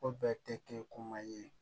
Ko bɛɛ tɛ kɛ koma ye